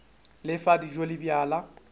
le fa dijo le bjala